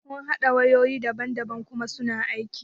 Mun haɗa wayoyi daban daban kuma suna aiki.